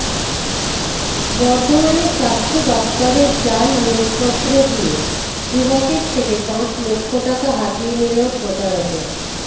বর্ধমানে স্বাস্থ্য দফতরের জাল নিয়োগপত্র দিয়ে যুবকের থেকে পাঁচ লক্ষ টাকা হাতিয়ে নিল প্রতারকরা